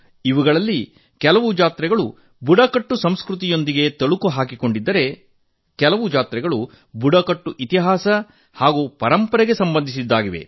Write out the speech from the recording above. ಅವುಗಳಲ್ಲಿ ಕೆಲವು ಜಾತ್ರೆಗಳು ಬುಡಕಟ್ಟು ಸಂಸ್ಕೃತಿಯೊಂದಿಗೆ ಬೆಸೆದುಕೊಂಡಿದ್ದರೆ ಕೆಲವು ಜಾತ್ರೆಗಳು ಬುಡಕಟ್ಟು ಇತಿಹಾಸ ಹಾಗೂ ಪರಂಪರೆಗೆ ಸಂಬಂಧಿಸಿದ್ದಾಗಿವೆ